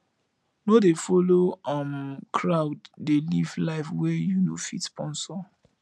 no dey folo um crowd dey live life wey you no fit sponsor